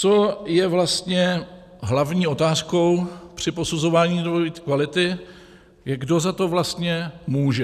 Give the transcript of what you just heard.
Co je vlastně hlavní otázkou při posuzování dvojí kvality, je, kdo za to vlastně může.